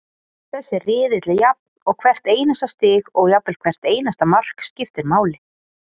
Þessi riðill er jafn og hvert einasta stig og jafnvel hvert einasta mark, skiptir máli.